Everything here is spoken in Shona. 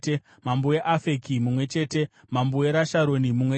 mambo weAfeki mumwe chete mambo weRasharoni mumwe chete